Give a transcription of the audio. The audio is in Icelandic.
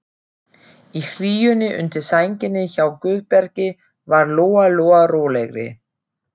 Í hlýjunni undir sænginni hjá Guðbergi varð Lóa-Lóa rólegri.